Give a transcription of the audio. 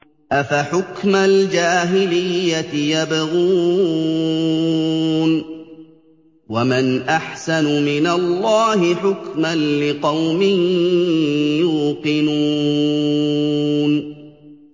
أَفَحُكْمَ الْجَاهِلِيَّةِ يَبْغُونَ ۚ وَمَنْ أَحْسَنُ مِنَ اللَّهِ حُكْمًا لِّقَوْمٍ يُوقِنُونَ